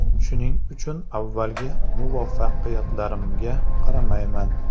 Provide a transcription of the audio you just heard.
Shuning uchun avvalgi muvaffaqiyatlarimga qaramayman.